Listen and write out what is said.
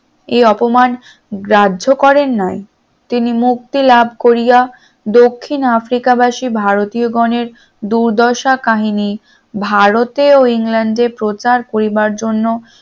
এই অপমান গ্রাহ্য করেন নাই তিনি মুক্তি লাভ করিয়া দক্ষিণ আফ্রিকা বাসী ভারতীয় গনের দুর্দশা কাহিনী ভারতের ও ইংল্যান্ডে প্রচার কড়িবার জন্য